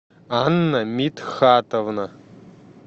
анна митхатовна